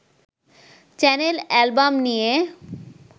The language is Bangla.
চ্যানেল-অ্যালবাম নিয়ে